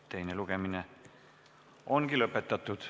Teine lugemine ongi lõpetatud.